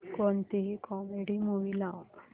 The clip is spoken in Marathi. कोणतीही कॉमेडी मूवी लाव